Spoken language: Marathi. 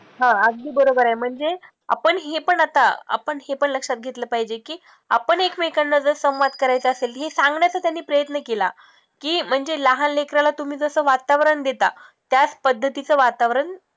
हा अगदी बरोबर आहे, म्हणजे आपण हे पण आता आपण हे पण लक्षात घेतलं पाहिजे की आपण ऐकमेकांना जर संवाद करायचा असेल हे सांगण्याचा त्यांनी प्रयत्न केला, की म्हणजे लहान लेकराला तुम्ही जसं वातावरण देता त्याच पद्धतीचं वातावरण